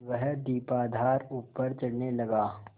वह दीपाधार ऊपर चढ़ने लगा